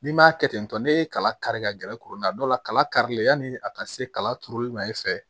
N'i m'a kɛ ten tɔ n'e ye kala kari ka gɛrɛ kurani na dɔw la kalalilen yani a ka se kala turuli ma i fɛ